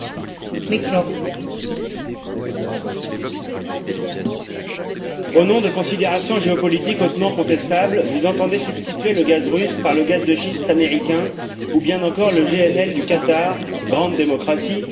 Madame la Présidente, au nom de considérations géopolitiques hautement contestables, vous entendez remplacer le gaz russe par le gaz de schiste américain ou bien encore le GNL du Qatar grande démocratie...